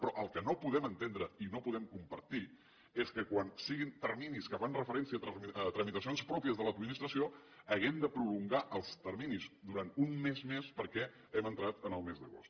però el que no podem entendre i no podem compartir és que quan siguin terminis que fan referència a tramitacions pròpies de l’administració hàgim de prolongar els terminis durant un mes més perquè hem entrat en el mes d’agost